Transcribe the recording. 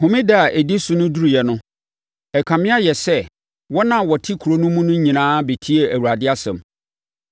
Homeda a ɛdi so no duruiɛ no, ɛkame ayɛ sɛ wɔn a wɔte kuro no mu no nyinaa bɛtiee Awurade asɛm.